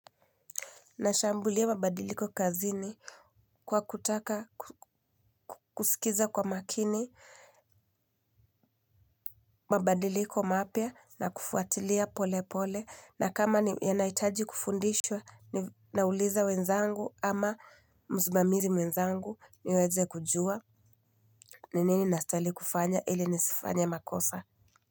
Nashambulia mabadiliko kazini kwa kutaka kusikiza kwa makini mabadiliko mapya na kufuatilia pole pole na kama yanahitajikufundishwa ninauliza wenzangu ama msimamizi mwenzangu niweze kujua ni nini nastahili kufanya ili nisifanye makosa.